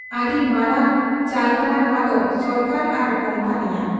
ᱟᱹᱰᱤ ᱢᱟᱨᱟᱝ ᱪᱟᱞᱠᱟᱱᱟ ᱱᱚᱶᱟᱫᱚ ᱥᱚᱨᱠᱟᱨ ᱟᱨ ᱠᱩᱢᱯᱟᱹᱱᱤᱭᱟᱜ ᱾